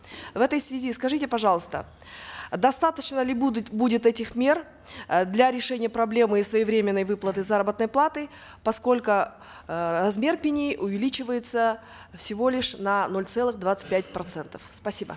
в этой связи скажите пожалуйста достаточно ли будут будет этих мер э для решения проблемы своевременной выплаты заработной платы поскольку э размер пени увеличивается всего лишь на ноль целых двадцать пять процентов спасибо